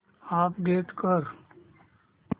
update कर